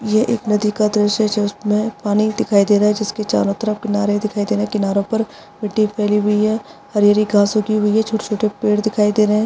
यह एक नदी का दृश्य है जिसमे पानी दिखाई दे रहा है जिसके चारो तरफ किनारे दिखाई दे रहे है किनारो पर मिट्टी फैली हुई है हरी हरी घास उगी हुई है | छोटे छोटे पेड़ दिखाई दे रहे है ।